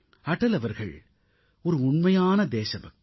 அடல் அவர்கள் ஒரு உண்மையான தேசபக்தர்